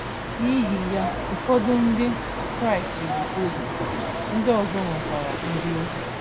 N’ihi ya, ụfọdụ ndị Kraịst bụ ohu, ndị ọzọ nwekwara ndị ohu.